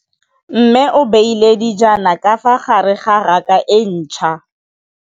Mmê o beile dijana ka fa gare ga raka e ntšha.